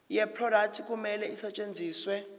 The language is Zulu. yeproduct kumele isetshenziswe